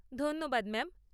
ধন্যবাদ ম্যাম।